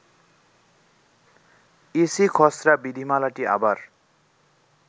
EC খসড়া বিধিমালাটি আবার